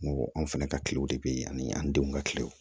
N ko anw fɛnɛ ka kilew de be yen ani an denw ka kiliyanw